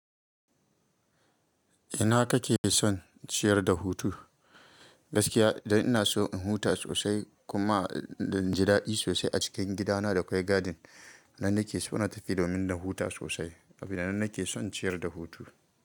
Ina ka ke son ciyar da hutu? Gaskiya dan ina so in huta sosai kuma dan ji daɗi sosai a cikin gidana da akwai gadin. Nan na ke so na tafi domin na huta sosai. Abin da na ke son ciyar da hutu.